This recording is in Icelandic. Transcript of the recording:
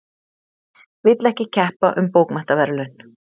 Vill ekki keppa um bókmenntaverðlaun